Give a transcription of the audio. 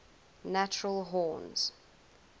natural horns